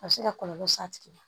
A bɛ se ka kɔlɔlɔ s'a tigi ma